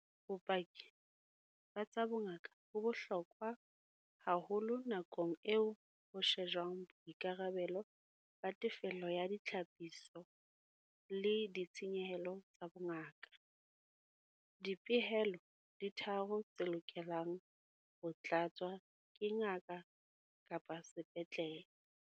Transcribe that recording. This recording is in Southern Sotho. Bopaki ba tsa bongaka bo bohlokwa haholo nakong eo ho shejwang boikarabelo ba tefello ya ditlhapiso le ditshenyehelo tsa bongaka. Dipehelo di tharo tse lokelang ho tlatswa ke ngaka-sepetlele.